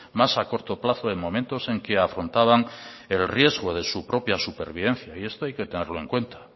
más a corto plazo en momentos en que afrontaban el riesgo de su propia supervivencia y esto hay que tenerlo en cuenta